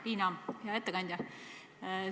Liina, hea ettekandja!